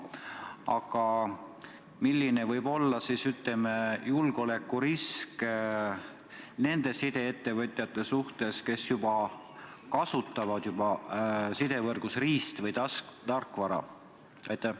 Aga milline võib olla julgeolekurisk nende sideettevõtjate suhtes, kes juba kasutavad sidevõrgus riist- või tarkvara?